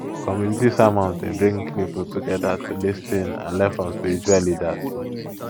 community sermons dey bring people together to lis ten and learn from spiritual leaders